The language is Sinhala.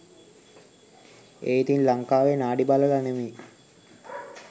ඒ ඉතිං ලංකාවෙ නාඩි බලල නෙමෙයි